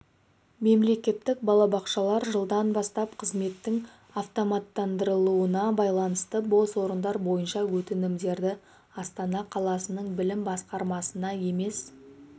мемлекеттік балабақшалар жылдан бастап қызметтің автоматтандырылуына байланысты бос орындар бойынша өтінімдерді астана қаласының білім басқармасына емес